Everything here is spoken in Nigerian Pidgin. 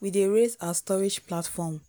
we dey raise our storage platform